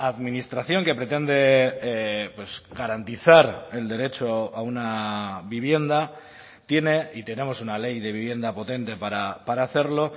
administración que pretende garantizar el derecho a una vivienda tiene y tenemos una ley de vivienda potente para hacerlo